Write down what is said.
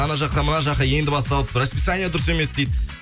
ана жаққа мына жаққа енді басталып расписание дұрыс емес дейді